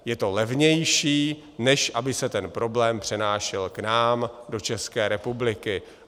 Je to levnější, než aby se ten problém přenášel k nám do České republiky.